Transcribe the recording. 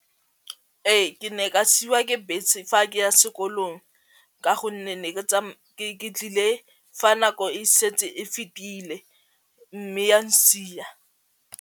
Ee ke ne ka siiwa ke bese fa ke ya sekolong ka gonne ke tlile fa nako e setse e fetile mme a n'sia.